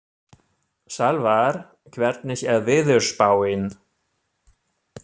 Salvar, hvernig er veðurspáin?